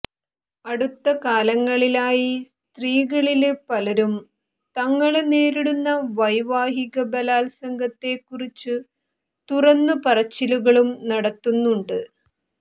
അടുത്ത കാലങ്ങളിലായി സ്ത്രീകളില് പലരും തങ്ങള് നേരിടുന്ന വൈവാഹിക ബലാത്സംഗത്തേക്കുറിച്ചു തുറന്നു പറച്ചിലുകളും നടത്തുന്നുണ്ട്